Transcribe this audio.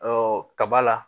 kaba la